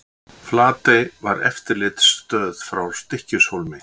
Flatey var eftirlitsstöð frá Stykkishólmi.